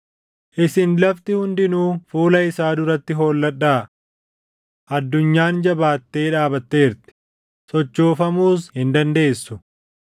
Isin lafti hundinuu fuula isaa duratti holladhaa! Addunyaan jabaattee dhaabatteerti; sochoofamuus hin dandeessu.